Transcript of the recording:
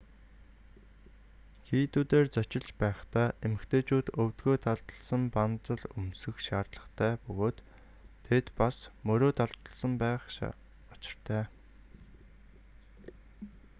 хийдүүдээр зочилж байхдаа эмэгтэйчүүд өвдөгөө далдалсан банзал өмсөх шаардлагатай бөгөөд тэд бас мөрөө далдалсан байх учиртай